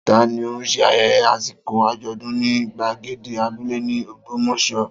Ta ni ó ṣe ayẹyẹ àsìkò àjọ̀dún ní gbàgede abúlé ní Ògbómọ̀ṣọ́?